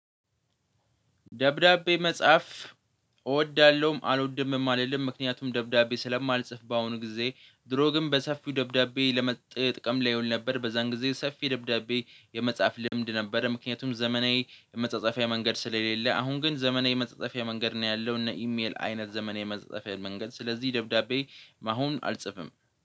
ደብዳቤ መጽሐፍ እወዳለሁም። አልወድምም አልልም ምክንያቱም ደብዳቤ ስለማልጽፍ በአሁኑ ጊዜ ድሮ ግን በሰፊው ደብዳቤ ለመጠ ጥቀም ላይ ይሆን ነበር። በዛን ጊዜ ሰፊ ደብዳቤ የመጽሐፍ ልምድ ነበረ። ምክንያቱም ዘመናዊ የመጻጻፊያ መንገድ ስለሌለ አሁን ግን ዘመናዊ የመጸጸፊያ መንገድ ነው ያለው እነ ኢሜል አይነት ዘመናዊ የመጻጻፊያ መንገድ ስለዚህ ደብዳቤ አሁን አልጽፍም